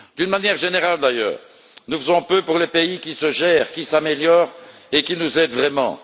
D'une manière générale, d'ailleurs, nous faisons peu pour les pays qui se gèrent, qui s'améliorent et qui nous aident vraiment.